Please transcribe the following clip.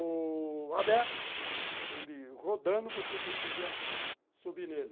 O aberto, ele rodando, você conseguia subir nele.